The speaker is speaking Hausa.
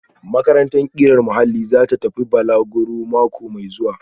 Makarantar ƙirar muhalli za ta tafi balaguro mako mai zuwa